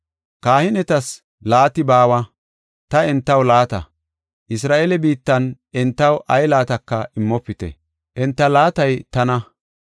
Kahinetas laati baawa; ta entaw laata. Isra7eele biittan entaw ay laataka immopite; enta laatay tana.